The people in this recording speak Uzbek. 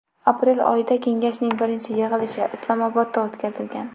Aprel oyida kengashning birinchi yig‘ilishi Islomobodda o‘tkazilgan.